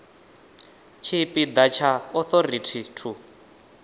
tshipi ḓa tsha authority to